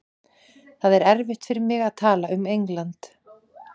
Það er erfitt fyrir mig að tala um England.